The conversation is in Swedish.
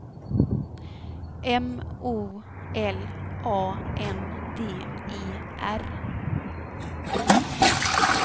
M O L A N D E R